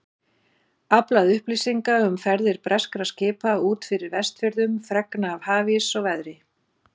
Aflað upplýsinga um ferðir breskra skipa út fyrir Vestfjörðum, fregna af hafís og veðri.